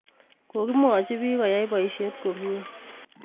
Kokimwochi piik koyai poisyet komnye